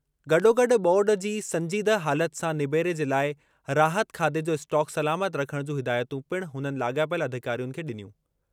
गॾोगॾु ॿोॾु जी संजीदह हालति सां निबेरे जे लाइ राहत खाधे जो स्टॉक सलामत रखणु जूं हिदायतूं पिणु हुननि लाॻापियल अधिकारियुनि खे ॾिनियूं।